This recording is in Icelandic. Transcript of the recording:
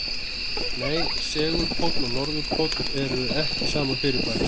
Nei, segulpóll og norðurpóll eru ekki sama fyrirbærið.